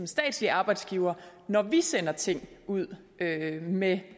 statslig arbejdsgiver når vi sender ting ud med